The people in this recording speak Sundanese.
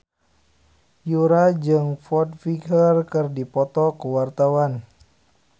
Yura jeung Foo Fighter keur dipoto ku wartawan